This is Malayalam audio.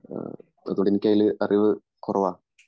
അതുകൊണ്ട് എനിക്കതില് അറിവ് കുറവാ